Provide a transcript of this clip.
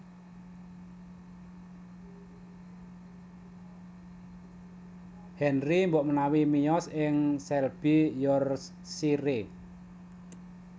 Henry mbokmanawi miyos ing Selby Yorkshire